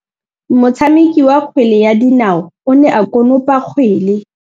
Motshameki wa kgwele ya dinaô o ne a konopa kgwele.